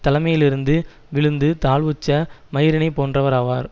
தலைமையிலிருந்து விழுந்து தாழ்வுற்ற மயிரினைப் போன்றவர் ஆவார்